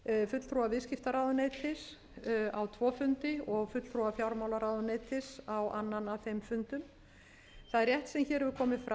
fulltrúa viðskiptaráðuneytis á tvo fundi og fulltrúa fjármálaráðuneytis á annan af þeim fundum það er rétt sem hér hefur komið fram að